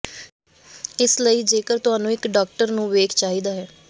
ਇਸ ਲਈ ਜੇਕਰ ਤੁਹਾਨੂੰ ਇੱਕ ਡਾਕਟਰ ਨੂੰ ਵੇਖ ਚਾਹੀਦਾ ਹੈ